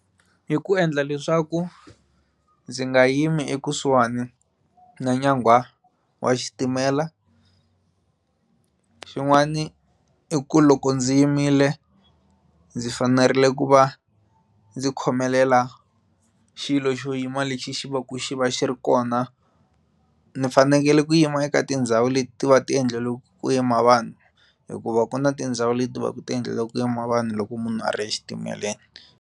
Hi ku endla leswaku ndzi nga yimi ekusuhani na nyangwa wa xitimela xin'wani i ku loko ndzi yimile ndzi fanerile ku va ndzi khomelela xilo xo yima lexi xi va ku xi va xi ri kona ni fanekele ku yima eka tindhawu leti va ku ti endleriwaku ku yima vanhu hikuva ku na tindhawu leti va ku ti endleriwaku ku yima vanhu loko munhu a ri exitimeleni.